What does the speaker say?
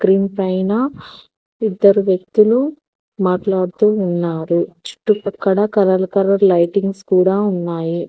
దీనిపైన ఇద్దరు వ్యక్తులు మాట్లాడుతూ ఉన్నారు చుట్టుపక్కల కలర్ కలర్ లైటింగ్స్ కూడా ఉన్నాయి.